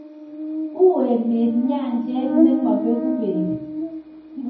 uu emet nyanjet ne mabeku beek